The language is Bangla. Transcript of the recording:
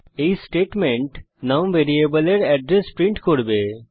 এই স্টেটমেন্ট নুম ভ্যারিয়েবলের এড্রেস প্রিন্ট করবে